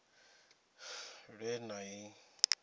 ṅ we na i ṅ